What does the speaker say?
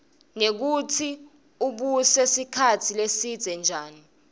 nekutsi ubuse sikhatsi lesidze njani